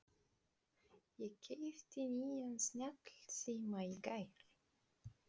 Ég keypti nýjan snjallsíma í gær.